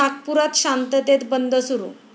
नागपुरात शांततेत बंद सुरू